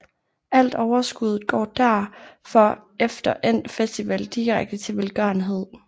Alt overskuddet går derfor efter endt festival direkte til velgørenhed